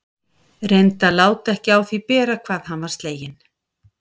Reyndi að láta ekki á því bera hvað hann var sleginn.